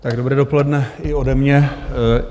Dobré dopoledne i ode mě.